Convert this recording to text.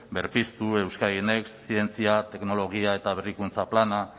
berpiztu euskadin next zientzia teknologia eta berrikuntza planak